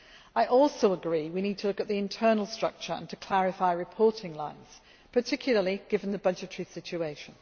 I also agree we need to look at the internal structure and to clarify reporting lines, particularly given the budgetary situation.